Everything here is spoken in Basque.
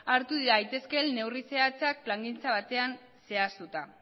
hartu daitezkeen neurri zehatzak plangintza batean zehaztuta